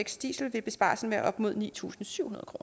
diesel vil besparelsen være op mod ni tusind syv hundrede